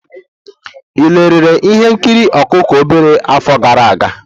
Ị lere ihe nkiri ọkụkọ obere afọ gara aga?